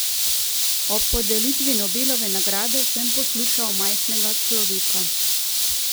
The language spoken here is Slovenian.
Ob podelitvi Nobelove nagrade sem poslušal majhnega človeka.